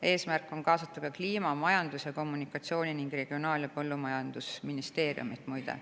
Eesmärk on kaasata ka Kliimaministeerium, Majandus‑ ja Kommunikatsiooniministeerium ning Regionaal‑ ja Põllumajandusministeerium, muide.